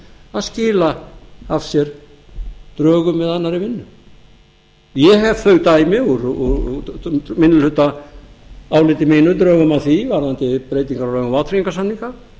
að skila af sér drögum eða annarri vinnu ég hef þau dæmi úr minnihlutaáliti mínu drögum að því varðandi breytingar á lögum um vátryggingarsamninga